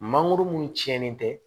Mangoro mun tiɲɛnen tɛ